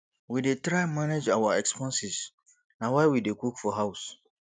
we dey try manage our expenses na why we dey cook for house